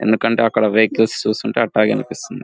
ఎందుకంటే అక్కడ వెహికల్స్ చూస్తుంటే అట్టాగే అనిపిస్తుంది.